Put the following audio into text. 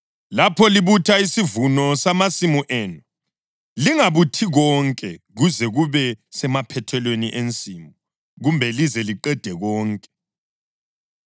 Lapho libutha isivuno samasimu enu, lingabuthi konke kuze kube semaphethelweni ensimu kumbe lize liqede konke.